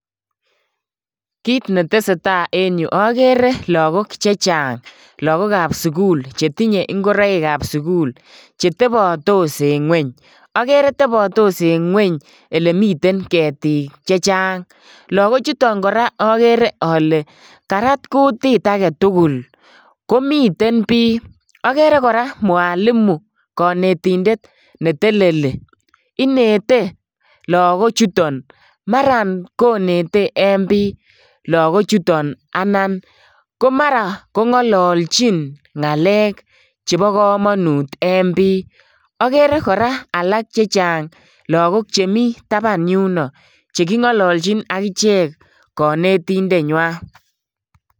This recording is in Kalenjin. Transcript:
Kit ne tesetai en yu akere lagok che chang, lagokab sukul chetinye ingoroikab sukul chetebatos eng ngweny, akere tebatos eng gweny elemiten ketik che chang, lagochuton kora akere ale karat kutit ake tugul komiten biy, akere kora mwalimu kanetindet ne teleli inete lagochuton maran konete en biy lagochuton anan ko mara kongalalchin ngalek chebo kamanut en biy. Akere kora alak che chang lagok che chemi taban yuno chekingololchin akichek kanetindenywa.